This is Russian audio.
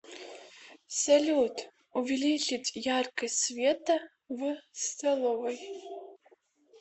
салют увеличить яркость света в столовой